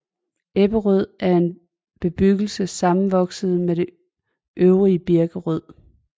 Ebberød er en bebyggelse sammenvokset med det øvrige Birkerød